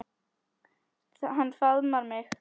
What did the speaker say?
Hann faðmar mig.